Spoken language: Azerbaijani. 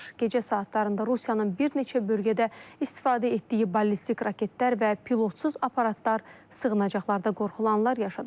Gecə saatlarında Rusiyanın bir neçə bölgədə istifadə etdiyi ballistik raketlər və pilotsuz aparatlar sığınacaqlarda qorxulanlar yaşadıb.